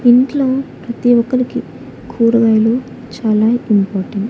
ఇంట్లో ప్రతిఒక్కరికీ కూరగాయలు చాలా ఇంపార్టెంట్ .